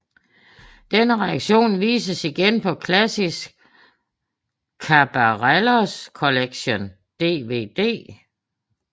Denne redektion vises igen på Classic Caballeros Collection DVD